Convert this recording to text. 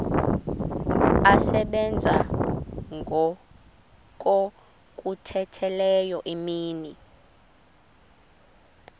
asebenza ngokokhutheleyo imini